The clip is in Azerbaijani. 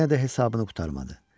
Yenə də hesabını qurtarmadı.